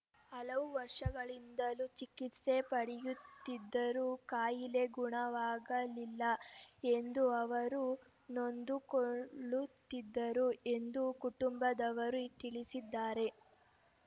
ಹಲವು ವರ್ಷಗಳಿಂದಲೂ ಚಿಕಿತ್ಸೆ ಪಡೆಯುತ್ತಿದ್ದರೂ ಕಾಯಿಲೆ ಗುಣವಾಗಳಿಲ್ಲ ಎಂದು ಅವರು ನೊಂದುಕೊಳ್ಳುತ್ತಿದ್ದರು ಎಂದು ಕುಟುಂಬದವರು ತಿಳಿಸಿದ್ದಾರೆ